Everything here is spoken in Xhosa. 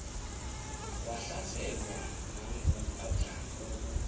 wahlaselwa nanguadam kok